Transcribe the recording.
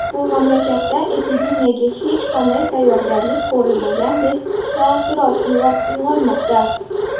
Bu mamlakatda epidemiyaga hech qanday tayyorgarlik ko‘rilmagandek taassurot uyg‘onmoqda.